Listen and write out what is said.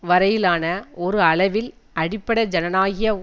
வரையிலான ஒரு அளவில் அடிப்படை ஜனநாயக